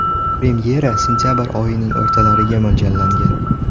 Premyera sentabr oyining o‘rtalariga mo‘ljallangan.